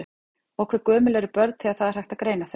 Og hve gömul eru börn þegar það er hægt að greina þau?